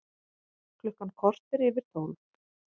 Klukkan korter yfir tólf